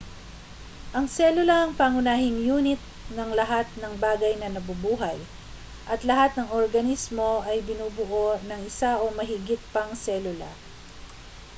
ang selula ang pangunahing yunit ng lahat ng bagay na nabubuhay at lahat ng organismo ay binubuo ng isa o mahigit pang selula